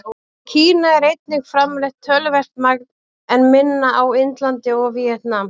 Í Kína er einnig framleitt töluvert magn, en minna á Indlandi og í Víetnam.